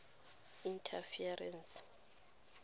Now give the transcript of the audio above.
interferences